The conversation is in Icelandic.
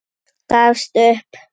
Gafst upp.